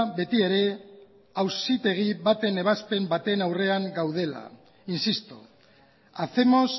beti ere auzitegi baten ebazpen baten aurrean gaudela insisto hacemos